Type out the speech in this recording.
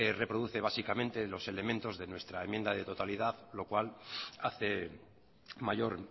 reproduce básicamente los elementos de nuestra enmienda de totalidad lo cual hace mayor